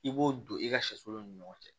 I b'o don i ka sɛsolo ni ɲɔgɔn cɛ